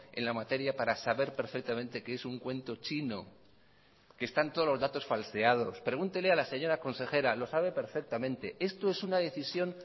en la materia para saber perfectamente que es un cuento chino que están todos los datos falseados pregúntele a la señora consejera lo sabe perfectamente esto es una decisión